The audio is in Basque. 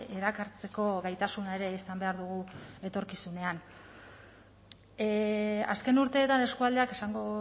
erakartzeko gaitasuna ere izan behar dugu etorkizunean azken urteetan eskualdeak esango